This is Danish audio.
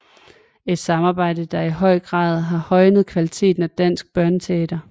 Et samarbejde der i høj grad har højnet kvaliteten af dansk børneteater